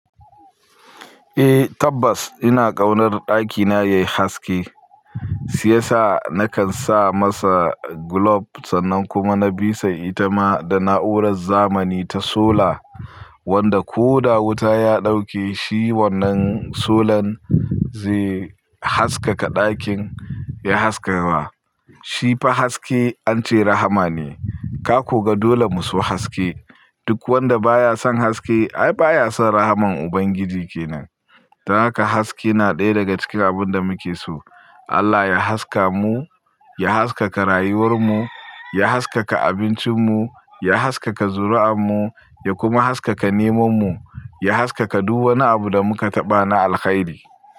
Eh tabbas ina ƙaunar ɗakina yayi haske, siyasa nakan sa masa glob sannan kuma na bisa ita ma da na'urar zamani ta sola wanda ko da wuta ya dauke shi wannan solan, zai haskaka ɗakin ya haskawa. Shi fa haske an ce rahama ne, ka ko ga dole mu so haske. Duk wanda baya son haske ai baya son rahman Ubangiji kenan. Don haka haske na ɗaya daga cikin abun da muke so. Allah ya haska mu, ya haskaka rayuwar mu, ya haskaka abincin mu, ya haskaka zuri'an mu, ya kuma haskaka neman mu, ya haskaka duk wani abu da muka taɓa na alkhairi.